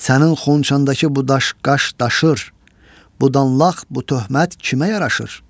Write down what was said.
Sənin xonçandakı bu daş-qaş daşır, bu danlaq, bu töhmət kimə yaraşır?